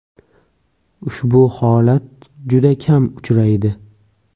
Ushbu holat juda kam uchraydi”.